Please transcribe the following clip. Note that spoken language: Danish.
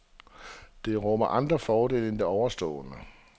Det rummer andre fordele end de ovenstående.